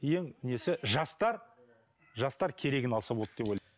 ең несі жастар жастар керегін алса болды деп